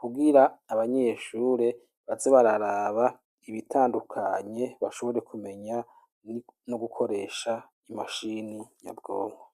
kugira abanyeshure baze bararaba ibitandukanye bashobore kumenya no gukoresha imashine nyabwonko.